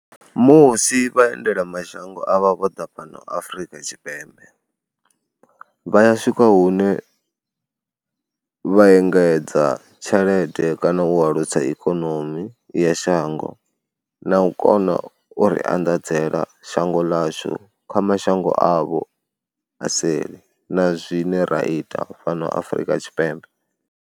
Musi vhaendelamashango avha vho ḓa fhano Afrika Tshipembe vha ya swika hune vha engedza tshelede kana u alusa ikonomi ya shango na u kona u ri anḓadzela shango ḽashu kha mashango avho a seli na zwine ra ita fhano Afrika Tshipembe.